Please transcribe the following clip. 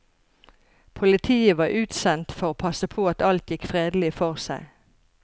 Politiet var utsendt for å passe på at alt gikk fredelig for seg.